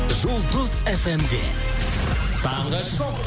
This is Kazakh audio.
жұлдыз фмде таңғы шоу